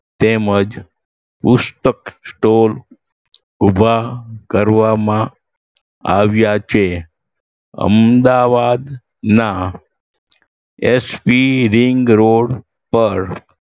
તેમજ પુસ્ત store ઉભા કરવામાં આવ્યા છે. અમદાવાદ ના એસ પી રિંગ રોડ પર